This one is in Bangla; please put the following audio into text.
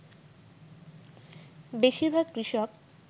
বেশীরভাগ কৃষক